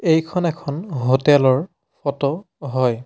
এইখন এখন হোটেল ৰ ফটো হয়।